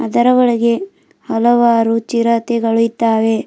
ಇದರ ಒಳಗೆ ಹಲವಾರು ಚಿರತೆಗಳು ಇದ್ದಾವೆ.